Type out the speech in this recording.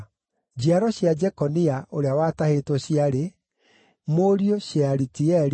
Njiaro cia Jekonia, ũrĩa watahĩtwo, ciarĩ: Mũriũ Shealitieli,